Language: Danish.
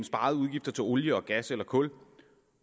sparede udgifter til olie og gas eller kul